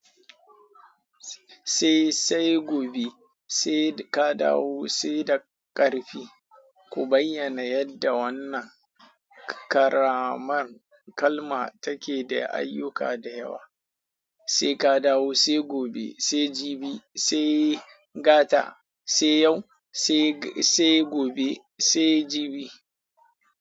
Sai sai gobe sai ka dawo sai da ƙarfi. Ku bayyana yadda wannan ƙaraman kalma take da ayyuka da yawa. Sai ka dawo sai gobe sai jibi sai gata sai yau sai sai gobe sai jibi.